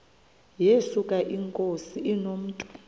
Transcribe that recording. yesuka inkosi inomntu